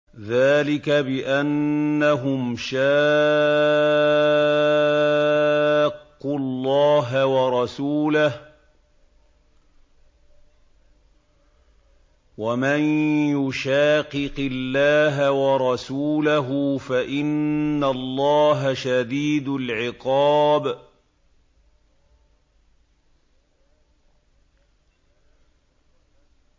ذَٰلِكَ بِأَنَّهُمْ شَاقُّوا اللَّهَ وَرَسُولَهُ ۚ وَمَن يُشَاقِقِ اللَّهَ وَرَسُولَهُ فَإِنَّ اللَّهَ شَدِيدُ الْعِقَابِ